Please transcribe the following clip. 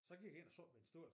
Så jeg gik ind og sad ved en stol